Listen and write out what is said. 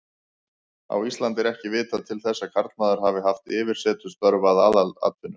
Á Íslandi er ekki vitað til þess að karlmaður hafi haft yfirsetustörf að aðalatvinnu.